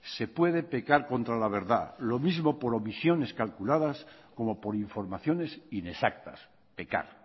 se puede pecar contra la verdad lo mismo por omisiones calculadas como por informaciones inexactas pecar